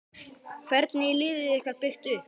Hvernig er liðið ykkar byggt upp?